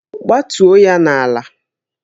Gbatuo ya n'ala!